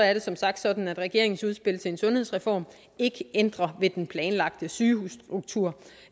er det som sagt sådan at regeringens udspil til en sundhedsreform ikke ændrer ved den planlagte sygehusstruktur